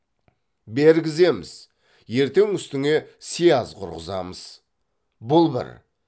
бергіземіз ертең үстіңе сияз құрғызамыз бұл бір